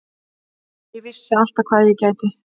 Ég vissi alltaf hvað ég gæti.